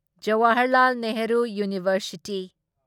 Jawaharlal Nehru university